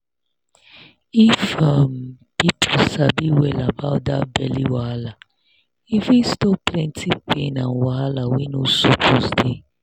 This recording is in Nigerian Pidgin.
if um people sabi well about that belly wahala e fit stop plenty pain and wahala wey no suppose dey.